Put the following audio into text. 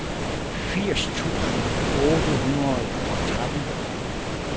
firs tusind otte hundrede og tretten